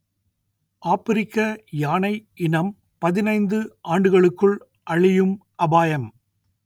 ஆப்பிரிக்க யானை இனம் பதினைந்து ஆண்டுகளுக்குள் அழியும் அபாயம்